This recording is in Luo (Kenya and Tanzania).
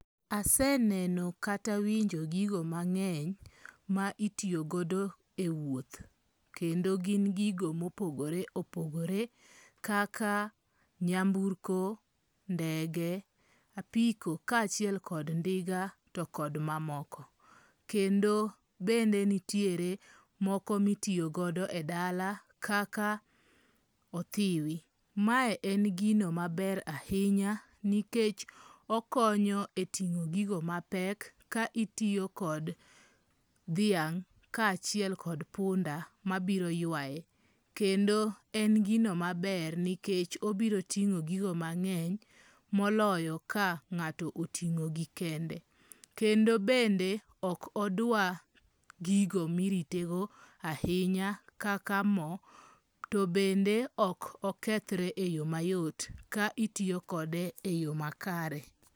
Aseneno kata winjo gigo mange'ny ma itiyogodo e wuoth, kendo gin gigo ma opogore opogore kaka nyamburko , ndege , apiko kachiel kod ndiga to kod mamoko, kendo bende nitire moko mitiyogo e dala kaka othiwi, mae en gino maber ahinya nikech okonyo e tingo' gigo mapek ka itiyokode thiang' kachiel kod punda mabiro yuaye kendo en gino maber nikech obiro tingo' gigo mange'ny moloyo ka nga'to otingo'gi kende , kendo bende ok odwa gigo miritego ahinya kaka mo to bende ok okethre e yo mayot ka itiyokode e yo makare.